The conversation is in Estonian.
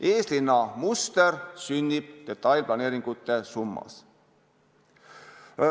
Eeslinna muster sünnib detailplaneeringute summas.